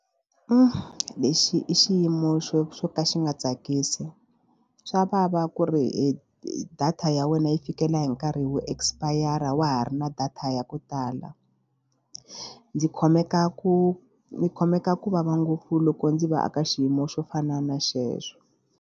Lexi i xiyimo xo xo ka xi nga tsakisi swa vava ku ri data ya wena yi fikela hi nkarhi wo expire a wa ha ri na data ya ku tala. Ndzi khomeka ku ni khomeka ku vava ngopfu loko ndzi va eka xiyimo xo fana na xexo.